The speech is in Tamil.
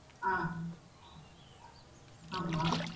ஆஹ் ஆமாம்